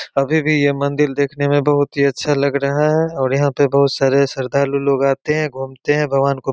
अभी भी ये मंदिर देखने में बहुत ही अच्छा लग रहा है और अभी भी यहाँ पर बहोत सारे श्रद्धालु लोग आते हैं घूमते हैं भगवान को --